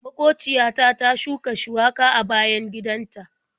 Maƙociya ta ta shuka shuwaka a bayan gidan ta.